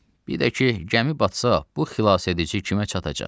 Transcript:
Bir də ki, gəmi batsa, bu xilasedici kimə çatacaq?